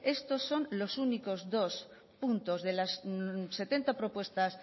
estos son los únicos dos puntos de las setenta propuestas